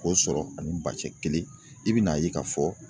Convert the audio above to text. K'o sɔrɔ ani ba cɛ kelen i bɛn'a ye k'a fɔ.